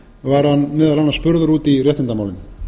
var hann meðal annars spurður út í réttindamálin